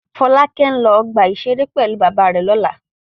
Fọ́lákẹ́ ń lọ ọgbà-ìṣeré pẹ̀lú bàbá rẹ̀ lọ́la.